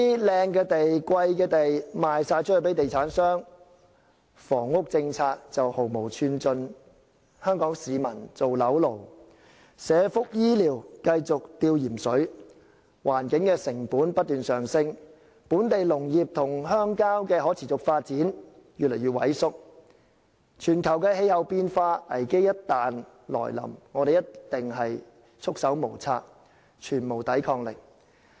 "靚地"、"貴地"全部賣給地產商，房屋政策毫無寸進，香港市民做樓奴，社福醫療繼續"吊鹽水"，環境成本不斷上升，本地農業與鄉郊社區越來越萎縮，全球氣候變化危機一旦來臨，我們一定束手無策，全無抵抗力。